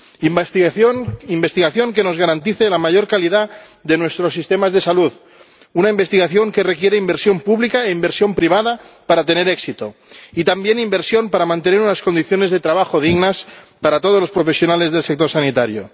Una investigación que nos garantice la mayor calidad de nuestros sistemas de salud, una investigación que requiere inversión pública e inversión privada para tener éxito, y también inversión para mantener unas condiciones de trabajo dignas para todos los profesionales del sector sanitario.